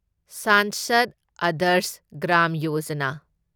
Sansad Adarsh Gram Yojana